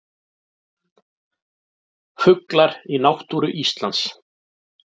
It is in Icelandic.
Fuglar í náttúru Íslands.